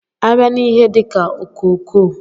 A bịa n'ihe dika ọkokoo.